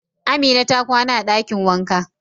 Amina ta kwana a dakin wanka.